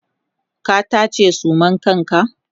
ka taje suman kanka!